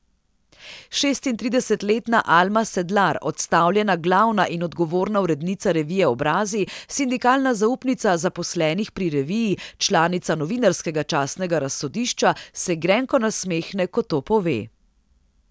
Šestintridesetletna Alma Sedlar, odstavljena glavna in odgovorna urednica revije Obrazi, sindikalna zaupnica zaposlenih pri reviji, članica Novinarskega častnega razsodišča, se grenko nasmehne, ko to pove.